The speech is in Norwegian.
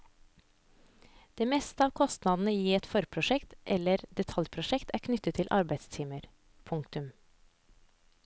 Det meste av kostnadene i et forprosjekt eller detaljprosjekt er knyttet til arbeidstimer. punktum